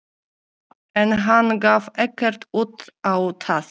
En hann gaf ekkert út á það.